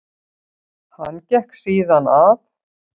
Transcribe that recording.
Hann gekk síðan að